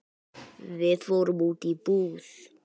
Við fórum út í búð.